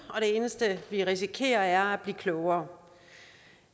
og det eneste vi risikerer er at blive klogere